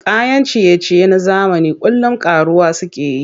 Kayan ciye-ciye na zamani kullum ƙaruwa suke yi.